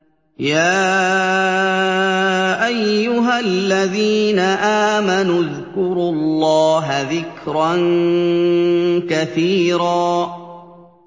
يَا أَيُّهَا الَّذِينَ آمَنُوا اذْكُرُوا اللَّهَ ذِكْرًا كَثِيرًا